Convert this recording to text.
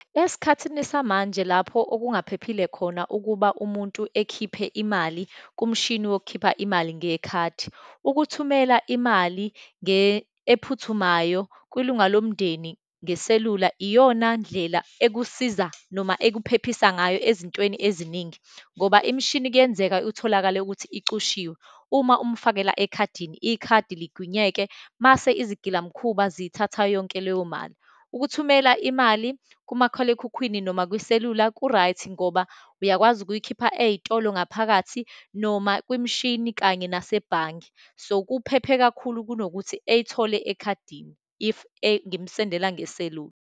Esikhathini samanje lapho okungaphephile khona ukuba umuntu ekhiphe imali kumshini wokukhipha imali ngekhadi, ukuthumela imali ephuthumayo kwilunga lomndeni ngeselula, iyonandlela ekusiza, noma ekuphephisa ngayo ezintweni eziningi, ngoba imishini kuyenzeka utholakale ukuthi icushiwe. Uma umfakele ekhadini, ikhadi ligwinyeke mase izigilamkhuba ziyithatha yonke leyo mali. Ukuthumela imali kumakhalekhukhwini noma kwiselula ku-right ngoba uyakwazi ukuyikhipha ey'tolo ngaphakathi, noma kwimishini, kanye nasebhange. So, kuphephe kakhulu kunokuthi eyithole ekhadini, if ngimsendela ngeselula.